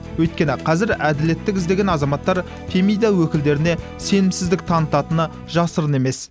өйткені қазір әділеттік іздеген азаматтар фемида өкілдеріне сенімсіздік танытатыны жасырын емес